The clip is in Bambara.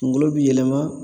Kungolo bi yɛlɛma